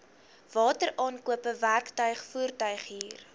wateraankope werktuig voertuighuur